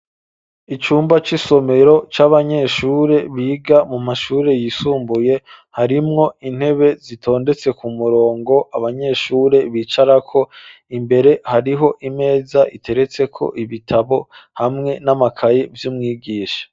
Icumba cyisomero c'abanyeshure biga mu mashure yisumbuye harimwo intebe zitondetse ku murongo abanyeshure bicarako imbere hariho imeza iteretseko ibitabo hamwe n'amakaye vy'umwigisha.